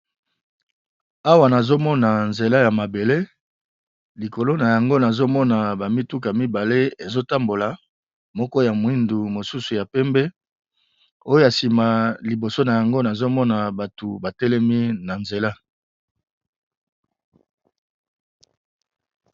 Awa nazo mona nzela ya mabele likolo na yango nazo mona bavmituka mibale ezo tambola moko ya mwindu mosusu ya pembe oyo sima . Liboso na yango nazobmona bato ba telemi na nzela .